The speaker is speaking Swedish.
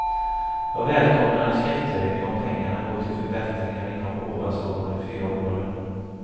Jag välkomnar en skattehöjning om pengarna går till förbättringar inom ovanstående fyra områden.